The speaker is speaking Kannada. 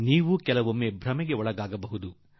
ಈಗಲೂ ಕೆಲವರು ಭ್ರಮೆಗೆ ಒಳಗಾಗುವರು